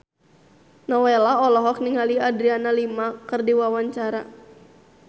Nowela olohok ningali Adriana Lima keur diwawancara